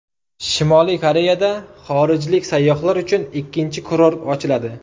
Shimoliy Koreyada xorijlik sayyohlar uchun ikkinchi kurort ochiladi.